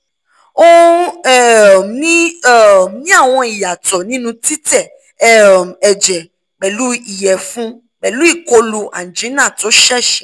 o n um ni um ni awọn iyatọ ninu titẹ um ẹjẹ pẹlu iyẹfun pẹlu ikolu angina to ṣẹṣẹ